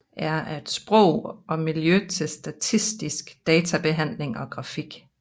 R er et sprog og miljø til statistisk databehandling og grafik